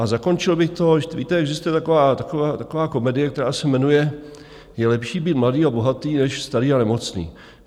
A zakončil bych to, víte, existuje taková komedie, která se jmenuje Je lepší být mladý a bohatý než starý a nemocný.